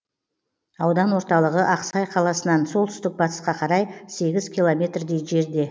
аудан орталығы ақсай қаласынан солтүстік батысқа қарай сегіз километрдей жерде